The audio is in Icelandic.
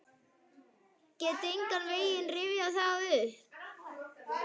Get engan veginn rifjað það upp.